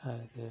है।